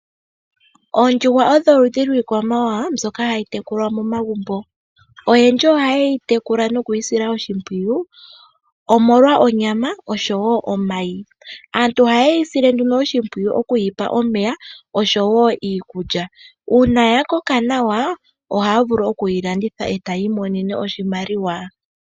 Oondjuhwa odho oludhi lyiikwamawawa mbyoka hayi momagumbo. Oyendji ohaye yi tukula nokuyi sila oshimpwiyu omolwa onyama oshowoo omayi . Aantu ohaye yi sile nduno oshimpwiyu okuyi pa omeya oshowoo iikulya. Uuna yakoka nawa, ohaye yi landitha etaya imonenemo oshimaliwa